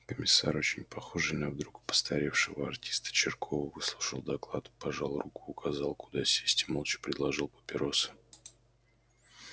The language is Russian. комиссар очень похожий на вдруг постаревшего артиста чиркова выслушал доклад пожал руку указал куда сесть и молча предложил папиросы